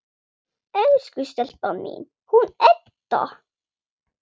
Elsku stelpan mín, hún Edda!